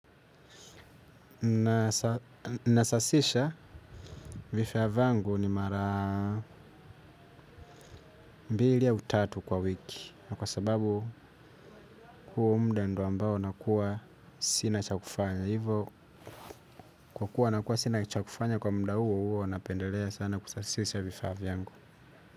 Nasasisha vifaa vangu ni mara mbili au tatu kwa wiki. Na kwa sababu huo mda ndo ambao nakuwa sina cha kufanya. Hivo kwa kuwa nakuwa sina cha kufanya kwa mda huo huwa napendelea sana kusasisha vifaa vyangu.